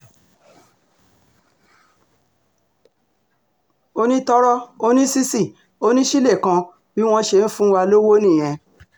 onítoro onísìsì onísìké kan bí wọ́n ṣe ń fún wa lọ́wọ́ nìyẹn